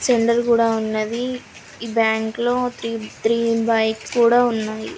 కూడా ఉన్నది. ఈ బ్యాంకు లో త్రీ త్రీ బైక్స్ కూడా ఉన్నాయి.